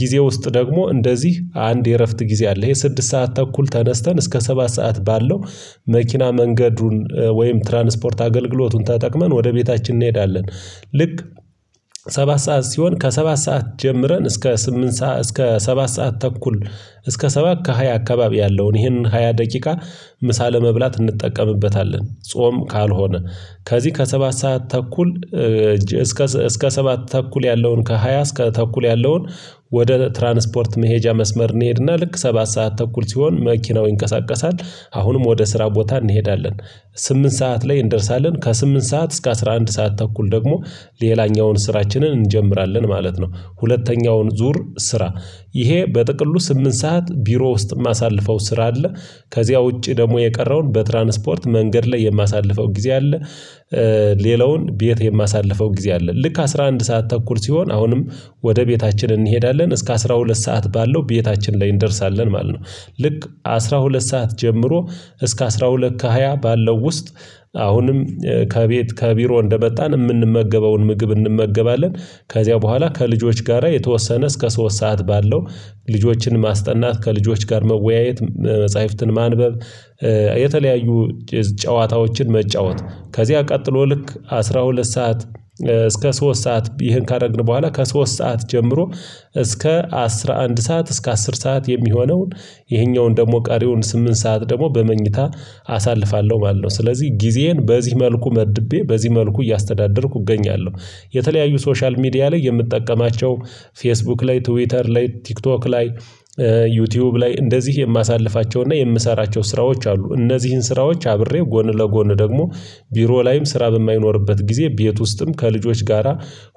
ጊዜ ውስጥ ደግሞ እንደዚህ አንድ የእረፍት ጊዜ አለ። ይሄ ስድስት ሰዓት ተኩል ተነስተን እስከ ሰባት ሰዓት ባለው መኪና መንገዱን ወይም ትራንስፖርት አገልግሎቱን ተጠቅመን ወደ ቤታችን እንሄዳለን። ልክ ሰባት ሰዓት ሲሆን ከሰባት ሰዓት ጀምረን እስከ ስምንት ሰዓት እስከ ሰባት ሰዓት ተኩል እስከ ሰባት ከሃያ አካባቢ ያለውን ይህንን ሃያ ደቂቃ ምሳ ለመብላት እንጠቀምበታለን። ጾም ካልሆነ ከዚህ ከሰባት ሰዓት ተኩል እስከ እስከ ሰባት ተኩል ያለውን ከሃያ እስከ ተኩል ያለውን ወደ ትራንስፖርት መሄጃ መስመር እንሄድና ልክ ሰባት ሰዓት ተኩል ሲሆን መኪናው ይንቀሳቀሳል። አሁንም ወደ ስራ ቦታ እንሄዳለን ስምንት ሰዓት ላይ እንደርሳለን። ከስምንት ሰዓት እስከ አስራ አንድ ሰዓት ተኩል ደግሞ ሌላኛውን ስራችንን እንጀምራለን ማለት ነው። ሁለተኛውን ዙር ስራ ይሄ በጥቅሉ ስምንት ሰዓት ቢሮ ውስጥ የማሳልፈው ስራ አለ። ከዚያ ውጪ ደግሞ የቀረውን በትራንስፖርት መንገድ ላይ የማሳልፈው ጊዜ አለ። ሌላውን ቤት የማሳልፈው ጊዜ አለ ልክ አስራ አንድ ሰዓት ተኩል ሲሆን አሁንም ወደ ቤታችን እንሄዳለን እስከ አስራ ሁለት ሰዓት ባለው ቤታችን ላይ እንደርሳለን ማለት ነው። ልክ አስራ ሁለት ሰዓት ጀምሮ እስከ አስራ ሁለት ከሃያ ባለው ውስጥ አሁንም ከቤት ከቢሮ እንደመጣን የምንመገበውን ምግብ እንመገባለን። ከዚያ በኋላ ከልጆች ጋራ የተወሰነ እስከ ሶስት ሰዓት ባለው ልጆችን ማስጠናት ከልጆች ጋር መወያየት። መጽሐፍትን ማንበብ። የተለያዩ ጨዋታዎችን መጫወት። ከዚያ ቀጥሎ ልክ አስራ ሁለት ሰዓት እስከ ሶስት ሰዓት ይህን ካደረግን በኋላ ከሶስት ሰዓት ጀምሮ እስከ አስራ አንድ ሰዓት እስከ አስር ሰዓት የሚሆነውን ይሄኛውን ደግሞ ቃሪውን ስምንት ሰዓት ደግሞ በመኝታ አሳልፋለሁ ማለት ነው። ስለዚህ ጊዜዬን በዚህ መልኩ መድቤ በዚህ መልኩ እያስተዳደርኩ እገኛለሁ። የተለያዩ ሶሻል ሚዲያ ላይ የምትጠቀማቸው ፌስቡክ ላይ ትዊተር ላይ ቲክቶክ ላይ ዩቲዩብ ላይ እንደዚህ የማሳልፋቸውና የምሰራቸው ስራዎች አሉ። እነዚህን ስራዎች አብሬ ጎን ለጎን ደግሞ ቢሮ ላይም ስራ በማይኖርበት ጊዜ ቤት ውስጥም ከልጆች ጋራ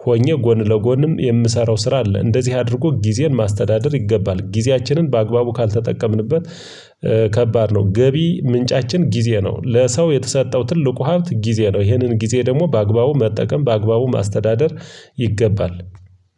ሆኜ ጎን ለጎንም የምሰራው ስራ አለ። እንደዚህ አድርጎ ጊዜን ማስተዳደር ይገባል። ጊዜያችንን በአግባቡ ካልተጠቀምንበት ከባድ ነው። ገቢ ምንጫችን ጊዜ ነው ለሰው የተሰጠው ትልቁ ሀብት ጊዜ ነው። ይህንን ጊዜ ደግሞ በአግባቡ መጠቀም በአግባቡ ማስተዳደር ይገባል